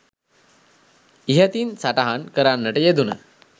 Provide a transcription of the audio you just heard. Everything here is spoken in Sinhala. ඉහතින් සටහන් කරන්නට යෙදුන